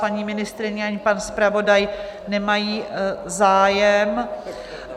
Paní ministryně ani pan zpravodaj nemají zájem.